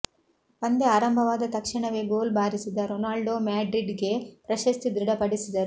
ಪಂದ್ಯ ಆರಂಭವಾದ ತಕ್ಷಣವೇ ಗೋಲು ಬಾರಿಸಿದ ರೊನಾಲ್ಡೊ ಮ್ಯಾಡ್ರಿಡ್ಗೆ ಪ್ರಶಸ್ತಿ ದೃಢಪಡಿಸಿದರು